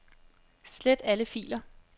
Slet alle filer.